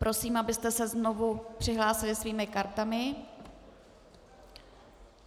Prosím, abyste se znovu přihlásili svými kartami.